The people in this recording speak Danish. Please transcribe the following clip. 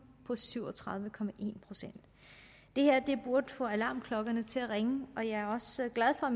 på syv og tredive procent det her burde få alarmklokkerne til at ringe og jeg er også glad for